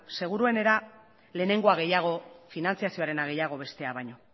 seguruenera lehenengoa gehiago finantziazioarena gehiago bestea baino